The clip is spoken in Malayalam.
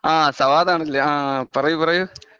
ആ സവാദ് ആണല്ലേ ആ പറയൂ പറയൂ.